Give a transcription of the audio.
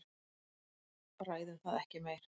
Ræðum það ekki meir.